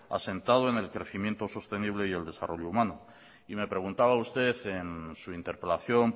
asentado en el crecimiento sostenible y el desarrollo humano y me preguntaba usted en su interpelación